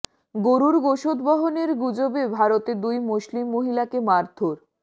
গরুর গোশত বহনের গুজবে ভারতে দুই মুসলিম মহিলাকে মারধর